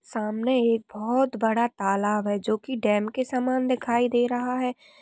सामने एक बहोत बड़ा तालाब है जो की डैम की समान दिखाई दे रहा है ।